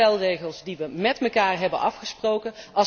Dat zijn de spelregels die we met elkaar hebben afgesproken.